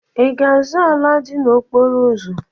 Ị ga-azụ ala dị n'okporo ụzọ?